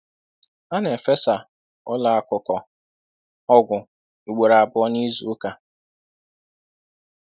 A na-efesa ụlọ akụkọ ọgwụ ugboro abụọ n'izu ụka.